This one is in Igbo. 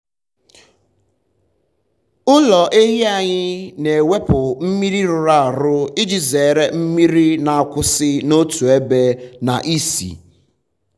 ụlọ ehi anyị na-ewepụ mmiri rụrụ arụ iji zere mmiri na-akwụsị um n’otu ebe na ísì.